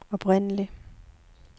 oprindelig